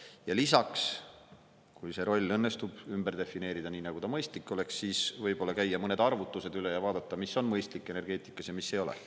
Ja lisaks, kui see roll õnnestub ümber defineerida, nii nagu mõistlik oleks, siis võib-olla käia mõned arvutused üle ja vaadata, mis on mõistlik energeetikas ja mis ei ole.